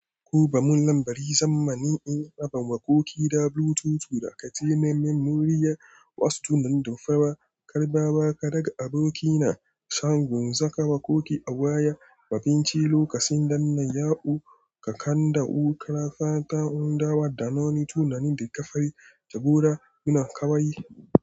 Kuba mun lambari zamanin in rabon waƙoƙi da Bluetooth da katil na memoriya wasu tunan da fawa karɓa ba ka daga aboki na san gunsaka waƙoƙi a waya mafinci lokacin dannan ya'u ka kanda wu kara fata hundawa da na wani tunanin da ka fari jagora ina kawai.